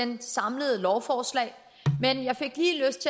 det samlede lovforslag men jeg fik lige lyst